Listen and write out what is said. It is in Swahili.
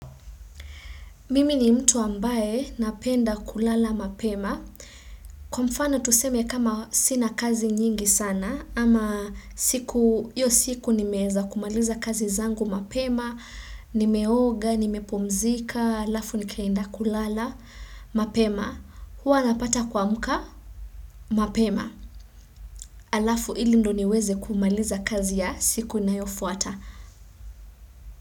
Mimi ni mtu ambaye napenda kulala mapema. Kwa mfano tuseme kama sina kazi nyingi sana, ama siku, hiyo siku nimeeza kumaliza kazi zangu mapema, nimeoga, nimepumzika, alafu nikaenda kulala, mapema, huwa napata kuamka, mapema. Alafu ili ndo niweze kumaliza kazi ya siku inayofuata.